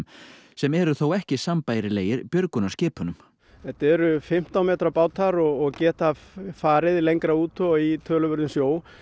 sem eru þó ekki sambærilegir björgunarskipunum þetta eru fimmtán metra bátar og geta farið lengra út og í töluverðum sjó